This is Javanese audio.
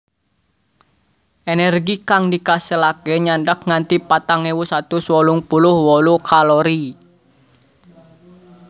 Energi kang dikaselaké nyandak nganti patang ewu satus wolung puluh wolu kalori